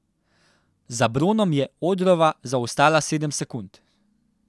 Za bronom je Odrova zaostala sedem sekund.